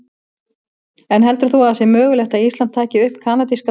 En heldur þú að það sé mögulegt að Ísland taki upp kanadíska dalinn?